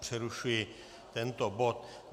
Přerušuji tento bod.